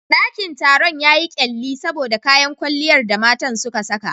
Dakin taron yayi kyalli saboda kayan kwalliyar da matan suka saka.